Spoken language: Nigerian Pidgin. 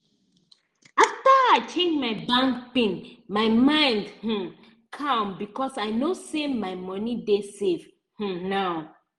after i change my bank pin my mind um calm because i know say my money dey safe um now